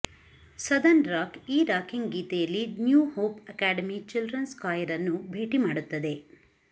southern rock ಈ rocking ಗೀತೆಯಲ್ಲಿ New Hope Academy children's choir ಅನ್ನು ಭೇಟಿ ಮಾಡುತ್ತದೆ